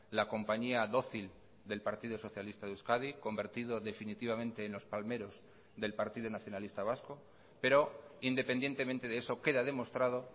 la compañía dócil del partido socialista de euskadi convertido definitivamente en los palmeros del partido nacionalista vasco pero independientemente de eso queda demostrado